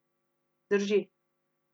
Drži.